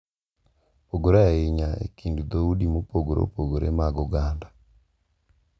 Opogore ahinya e kind dhoudi mopogore opogore mag oganda.